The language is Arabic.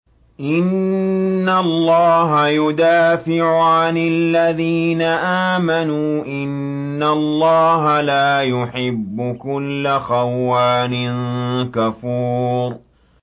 ۞ إِنَّ اللَّهَ يُدَافِعُ عَنِ الَّذِينَ آمَنُوا ۗ إِنَّ اللَّهَ لَا يُحِبُّ كُلَّ خَوَّانٍ كَفُورٍ